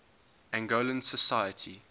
angolan society